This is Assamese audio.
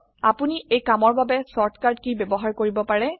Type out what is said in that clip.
আপোনি এই কামৰ বাবে শৰ্ট কাট কী ব্যবহাৰ কৰিব পাৰে